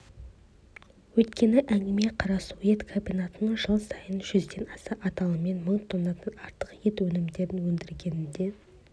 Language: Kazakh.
өйткені әңгіме қарасу ет комбинатының жыл сайын жүзден аса аталыммен мың тоннадан артық ет өнімдерін өндіргенінде